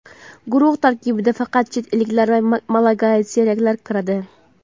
guruh tarkibiga faqat "chet elliklar va malagasiyaliklar" kiradi.